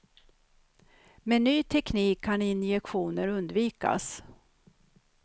Med ny teknik kan injektioner undvikas.